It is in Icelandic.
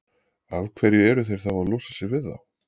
Af hverju eru þeir þá að losa sig við þá?